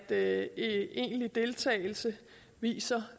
at egentlig deltagelse viser